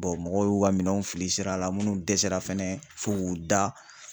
mɔgɔw y'u ka minɛnw fili sira la minnu dɛsɛra fɛnɛ fo k'u da